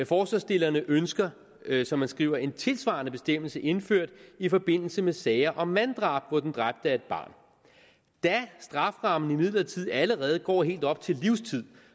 forslagsstillerne ønsker som man skriver en tilsvarende bestemmelse indført i forbindelse med sager om manddrab hvor den dræbte er et barn da strafferammen imidlertid allerede går helt op til livstid